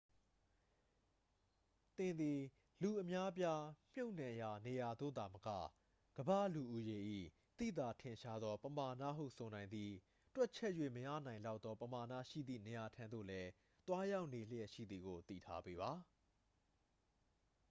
သင်သည် လူအများအပြားမြှုပ်နှံရာနေရာသို့သာမက ကမ္ဘာလူဦးရေ၏ သိသာထင်ရှားသောပမာဏဟုဆိုနိုင်သည့် တွက်ချက်၍မရနိုင်လောက်သောပမာဏရှိသည့်နေရာထံသို့လည်း သွားရောက်နေလျှက်ရှိသည်ကို သိထားပေးပါ